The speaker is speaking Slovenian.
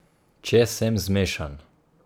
Če sem zmešan.